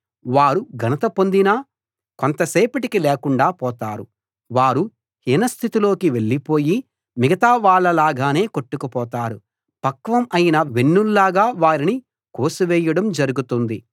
వారు ఘనత పొందినా కొంతసేపటికి లేకుండా పోతారు వారు హీనస్థితిలోకి వెళ్ళిపోయి మిగతా వాళ్ళ లాగానే కొట్టుకుపోతారు పక్వం అయిన వెన్నుల్లాగా వారిని కోసివేయడం జరుగుతుంది